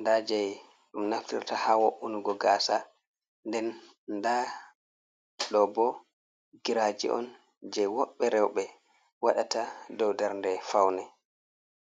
nda jei ɗum nafirta ha wo’unugo gasa nden nda ɗo bo giraji on je woɓbe rewɓe waɗata dow dernde faune.